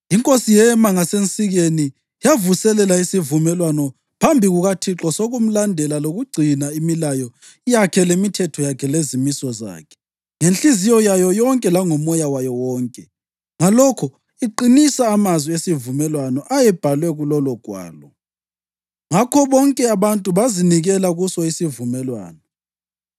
Inkosi yema ngasensikeni, yavuselela isivumelwano phambi kukaThixo sokumlandela lokugcina imilayo yakhe lemithetho yakhe lezimiso zakhe ngenhliziyo yayo yonke langomoya wayo wonke, ngalokho iqinisa amazwi esivumelwano ayebhaliwe kulolugwalo. Ngakho bonke abantu bazinikela kuso isivumelwano.